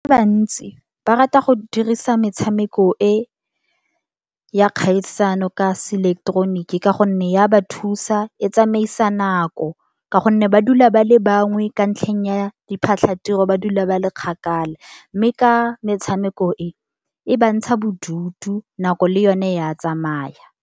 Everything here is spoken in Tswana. Ba bantsi ba rata go dirisa metshameko e ya kgaisano ka seleketeroniki, ka gonne ya ba thusa e tsamaisa nako. Ka gonne ba dula ba le bangwe, ka ntlheng ya diphatlhatiro, ba dula ba le kgakala. Mme ka metshameko e, e ba ntsha bodutu nako le yone ya tsamaya.